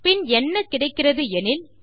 பின் என்ன கிடைக்கிறது எனில்